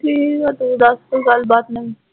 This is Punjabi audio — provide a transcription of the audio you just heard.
ਠੀਕ ਹੈ ਤੂੰ ਦੱਸ ਕੋਈ ਗੱਲਬਾਤ ਮੈਨੂੰ